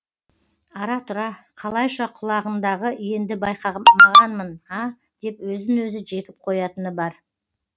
ара тұра қалайша құлағындағы енді байқамағанмын а деп өзін өзі жекіп қоятыны бар